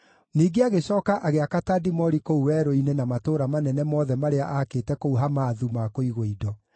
Ningĩ agĩcooka agĩaka Tadimori kũu werũ-inĩ na matũũra manene mothe marĩa aakĩte kũu Hamathu ma kũigwo indo.